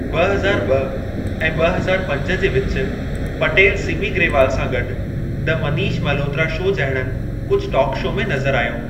ॿ हज़ार ॿ ऐं ॿ हज़ार पंज जे विच पटेल सिमी ग्रेवाल सां गॾु, द मनीष मल्होत्रा शो जहिड़नि कुझु टॉक शो में नज़रु आयो।